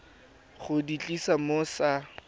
go di tlisa mo sa